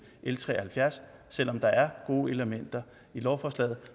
l tre og halvfjerds selv om der er gode elementer i lovforslaget